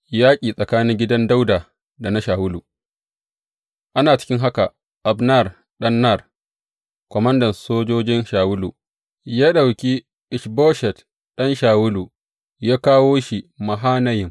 Yaƙi tsakanin gidan Dawuda da na Shawulu Ana cikin haka, Abner ɗan Ner, komandan sojojin Shawulu, ya ɗauki Ish Boshet ɗan Shawulu ya kawo shi Mahanayim.